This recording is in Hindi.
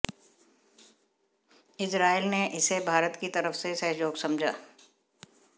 इजरायल ने इसे भारत की तरफ से सहयोग समझा